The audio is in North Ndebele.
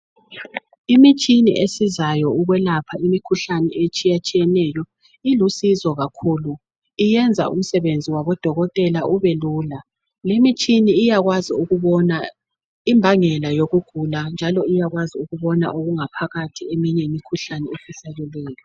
Imitshini esizayo ukwelapha imikhuhlane etshiyatshiyeneyo ilusizo kakhulu, iyenza umsebenzi wabodokotela ubelula. Limitshina iyakwazi ukubona imbangela yokugula njalo iyakwazi ukubona okungaphakathi eminye imikhuhlane efihlakeleyo